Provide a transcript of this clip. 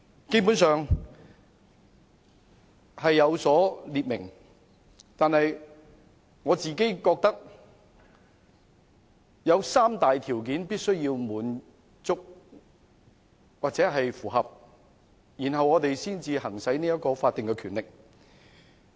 基本上是有列明的，但我覺得必須符合三大條件，立法會才可以行使這項法定權力。